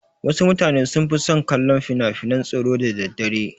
Wasu mutane sun fi son kallon finafinan tsoro da daddare.